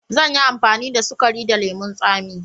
Zan yi amfani da sukari da lemun tsami.